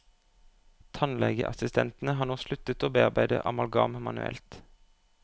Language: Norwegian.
Tannlegeassistentene har nå sluttet å bearbeide amalgam manuelt.